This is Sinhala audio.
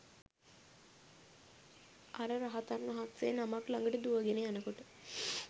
අර රහතන් වහන්සේ නමක් ළඟට දුවගෙන යනකොට